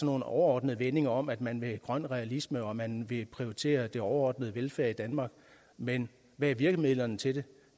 nogle overordnede vendinger om at man vil grøn realisme og at man vil prioritere den overordnede velfærd i danmark men hvad er virkemidlerne til det